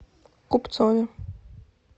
купцове